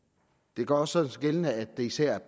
det gør sig også gældende at det især